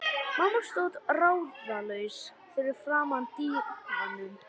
Mamma stóð ráðalaus fyrir framan dívaninn.